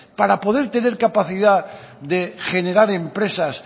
para poder tener capacidad de generar empresas